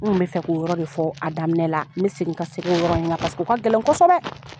N kun bi fɛ k'o yɔrɔ de fɔ a daminɛ la. N bi segin ka segin o yɔrɔ in kan o ka gɛlɛn kɔsɛbɛ.